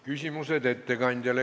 Küsimused ettekandjale.